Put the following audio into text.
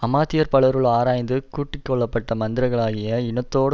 அமாத்தியர் பலருள் ஆராய்ந்து கூட்டி கொள்ள பட்ட மந்திரிகளாகிய இனத்தோடே